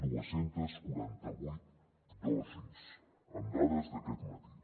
dos cents i quaranta vuit dosis amb dades d’aquest matí